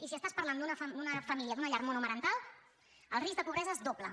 i si estàs parlant d’una família d’una llar monomarental el risc de pobresa es dobla